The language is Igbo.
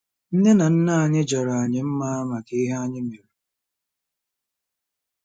Nne na nna anyị jara anyị mma maka ihe anyị mere.